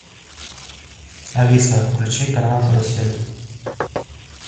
алиса включи канал карусель